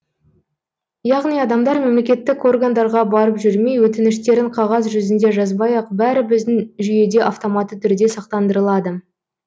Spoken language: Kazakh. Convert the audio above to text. яғни адамдар мемлекеттік органдарға барып жүрмей өтініштерін қағаз жүзінде жазбай ақ бәрі біздің жүйеде автоматты түрде сақтандырылады